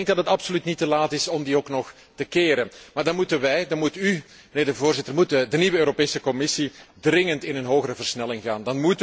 Ik denk dat het absoluut niet te laat is om die nog te keren, maar dan moeten wij, dan moet u, mijnheer de Voorzitter, dan moet de nieuwe Europese Commissie dringend in een hogere versnelling gaan.